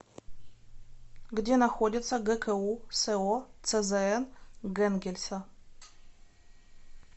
где находится гку со цзн гэнгельса